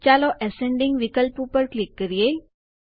ચાલો એસેન્ડિંગ ચઢતો ક્રમ વિકલ્પ ઉપર ક્લિક કરીએ